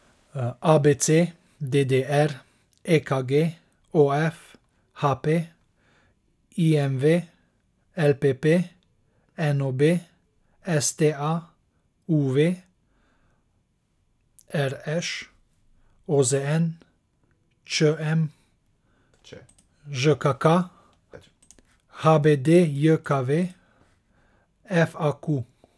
A B C; D D R; E K G; O F; H P; I M V; L P P; N O B; S T A; U V; R Š; O Z N; Č M; Ž K K; H B D J K V; F A Q.